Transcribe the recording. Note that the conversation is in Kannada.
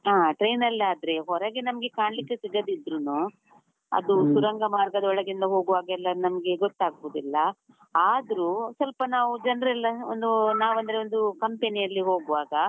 ಹಾ train ಅಲ್ಲಾದ್ರೆ ಹೊರಗೆ ನಮ್ಗೆ ಕಾಣ್ಲಿಕ್ಕೆ ಸಿಗದಿದ್ರುನೂ, ಸುರಂಗ ಮಾರ್ಗದೊಳಗಿಂದ ಹೋಗುವಾಗೆಲ್ಲ ನಮ್ಗೆ ಗೊತ್ತಾಗುದಿಲ್ಲ, ಆದ್ರೂ ಸ್ವಲ್ಪ ನಾವು ಜನ್ರೆಲ್ಲಾ ಒಂದು ನಾವಂದ್ರೆ ಒಂದು company ಅಲ್ಲಿ ಹೋಗುವಾಗ.